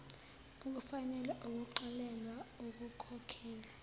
ukufanele ukuxolelwa ekukhokheni